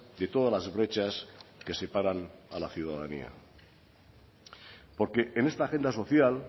de todas las brechas que separan a la ciudadanía porque en esta agenda social